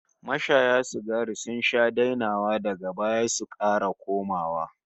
Mashaya sigari sun sha dainawa daga baya su kara komawa